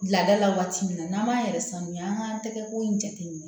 Laada la waati min na n'an b'a yɛrɛ sanuya an k'an tɛgɛko in jateminɛ